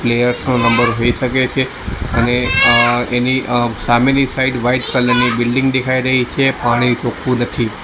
Players નો number હોઈ શકે છે અને અ એની અ સામેની સાઈડ વાઈટ કલર ની બિલ્ડીંગ દેખાય રહી છે પાણી ચોખ્ખું નથી.